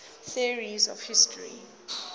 theories of history